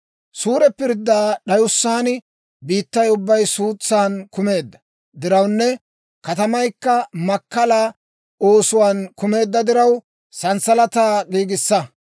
« ‹Suure pirddaa d'ayussaan, biittay ubbay suutsaan kumeedda dirawunne katamaykka makkala oosuwaan kumeedda diraw, sanssalataa giigissa.